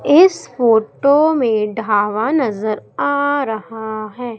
इस फोटो में ढाबा नजर आ रहा हैं।